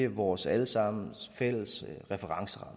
vores alle sammens fælles referenceramme